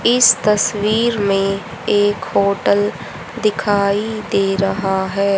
इस तस्वीर में एक होटल दिखाई दे रहा है।